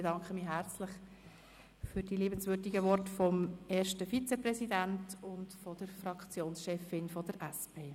Ich bedanke mich herzlich für die liebenswürdigen Worte des ersten Vizepräsidenten und der Fraktionschefin der SP-JUSO-PSA.